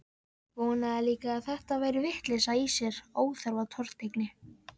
Vonaði líka að þetta væri vitleysa í sér, óþarfa tortryggni.